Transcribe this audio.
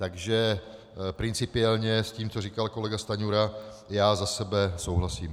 Takže principiálně s tím, co říkal kolega Stanjura, já za sebe souhlasím.